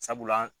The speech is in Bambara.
Sabula